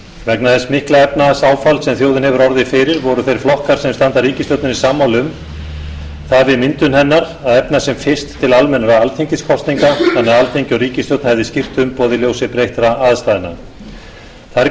vegna þess mikla efnahagsáfalls sem þjóðin hefur orðið fyrir voru þeir flokkar sem standa að ríkisstjórninni sammála um það við myndun hennar að efna sem fyrst til almennra alþingiskosninga þannig að alþingi og ríkisstjórn hefði skýrt umboð í ljósi breyttra aðstæðna þær